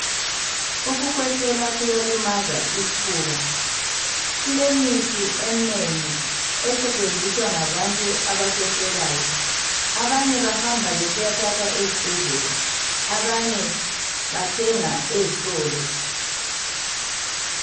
Ukukhwehlela kuyalimaza isfuba. Kulemithi eminengi esetshenziswa ngabantu abakhwehlelayo Abanye bahamba besiyathatha esbhedlela abanye bathenga ezitolo .